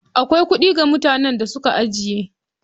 Akwai kuɗi ga mutanen da suka ajiye.